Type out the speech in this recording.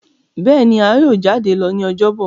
béèni a yíò jade lọ ní Ọjọ́ Bọ̀.